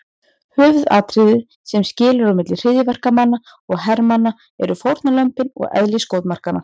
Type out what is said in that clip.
Höfuðatriðið sem skilur á milli hryðjuverkamanna og hermanna eru fórnarlömbin og eðli skotmarkanna.